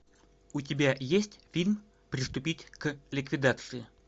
у тебя есть фильм приступить к ликвидации